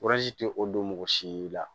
tɛ o don mɔgɔ si la